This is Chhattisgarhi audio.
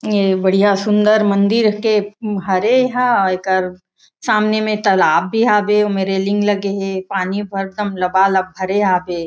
ये बढ़िया सुन्दर मंदिर के हरे हे एकर सामने में तलाब भी हे ओमा रेलिंग लगे हे पानी एकदम लबा-लब भरे हवय।